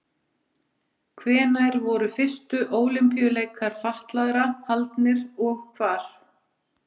Hvenær voru fyrstu Ólympíuleikar fatlaðra haldnir og hvar?